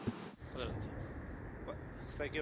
Thank you very much for the question.